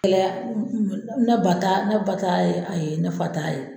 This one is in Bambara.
Kɛlɛ y'a ne b'a ta, ne ba t'a yen , ayi, ne fa t'a ye .